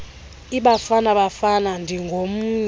ibafana bafana ndingomnye